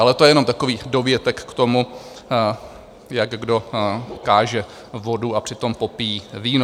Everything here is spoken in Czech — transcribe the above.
Ale to je jenom takový dovětek k tomu, jak kdo káže vodu a přitom popíjí víno.